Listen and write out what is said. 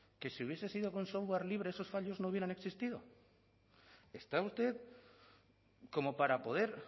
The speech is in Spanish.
que si hubiese sido con software libre esos fallos no hubieran existido está usted como para poder